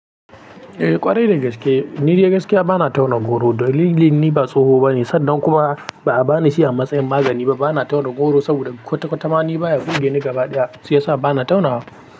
Eh ƙwarai da gaske, ni da gaskiya ba na tauna goro. Dalilin ni ba tsoho bane, sannan kuma ba a bani shi a matsayin magani ba. Ba na tauna goro saboda kwata-kwata ma ni baya burge ni gaba ɗaya, shi yasa ba na tauna.